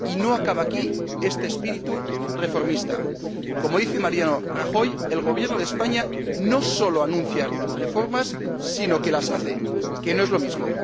Y no acaba aquí este espíritu reformista. Como dice Mariano Rajoy, el Gobierno de España no solo anuncia reformas, sino que las hace, que no es lo mismo.